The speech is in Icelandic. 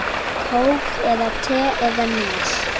Kók eða te eða Nes?